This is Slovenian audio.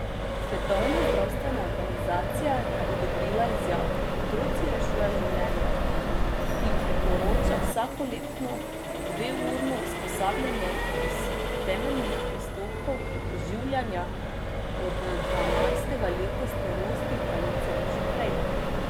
Svetovna zdravstvena organizacija je odobrila izjavo Otroci rešujejo življenja, ki priporoča vsakoletno dveurno usposabljanje iz temeljnih postopkov oživljanja od dvanajstega leta starosti ali celo že prej.